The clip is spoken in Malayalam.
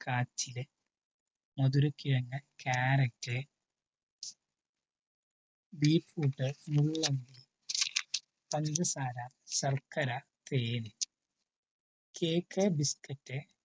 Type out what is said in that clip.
കാച്ചില് മധുരകിഴങ്ങു കാരറ്റ് ബീറ്റ്റൂട്ട് മുള്ളങ്കി പഞ്ചസാര ശർക്കര തേൻ കേക്ക് ബിസ്ക്കറ്റ്